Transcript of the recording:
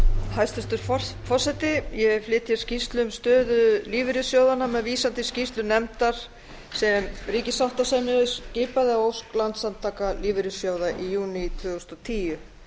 hæstvirtur forseti ég flyt hér skýrslu um stöðu lífeyrissjóðanna með vísan til skýrslu nefndar sem ríkissáttasemjari skipaði að ósk landssamtaka lífeyrissjóða í júní tvö þúsund og tíu